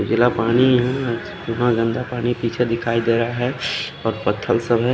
जिला पानी है कितना गन्दा पानी पीछे दिखाई देरा है और पत्थर सब है।